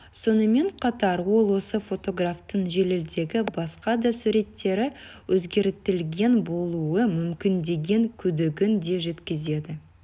сонымен қатар ол осы фотографтың желідегі басқа да суреттері өзгертілген болуы мүмкін деген күдігін де жеткізді